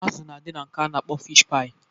Azụ na adị na nke a na-akpọ fish-paị.